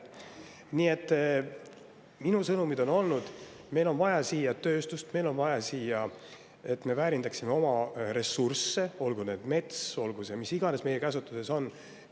Nii et minu sõnumid on olnud need, et meil on vaja siia tööstust, meil on vaja, et me väärindaksime oma ressursse, olgu see mets, olgu see mis iganes, mis meie käsutuses on.